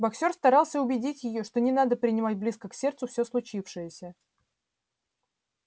боксёр старался убедить её что не надо принимать близко к сердцу все случившееся